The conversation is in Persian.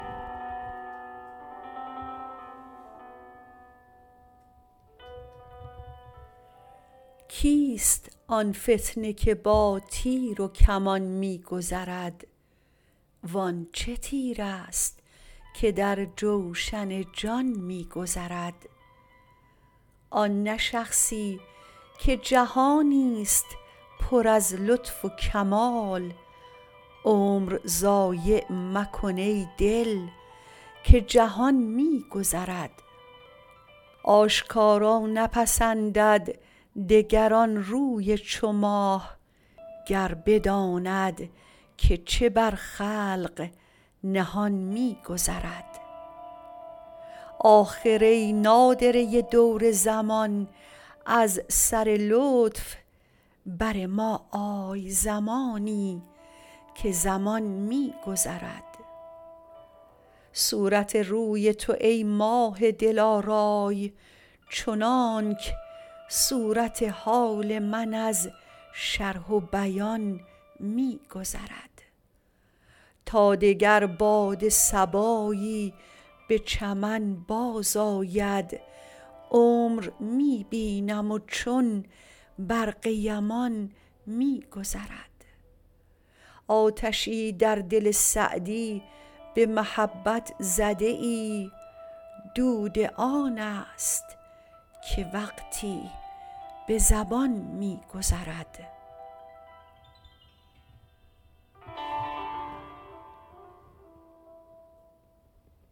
کیست آن فتنه که با تیر و کمان می گذرد وان چه تیرست که در جوشن جان می گذرد آن نه شخصی که جهانی ست پر از لطف و کمال عمر ضایع مکن ای دل که جهان می گذرد آشکارا نپسندد دگر آن روی چو ماه گر بداند که چه بر خلق نهان می گذرد آخر ای نادره دور زمان از سر لطف بر ما آی زمانی که زمان می گذرد صورت روی تو ای ماه دلارای چنانک صورت حال من از شرح و بیان می گذرد تا دگر باد صبایی به چمن بازآید عمر می بینم و چون برق یمان می گذرد آتشی در دل سعدی به محبت زده ای دود آن ست که وقتی به زبان می گذرد